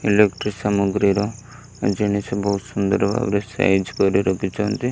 Electric ସାମଗ୍ରୀର ଜିନିଷ ବହୁତ ସୁନ୍ଦର ଭାବରେ ସାଇଜ କରି ରଖିଛନ୍ତି।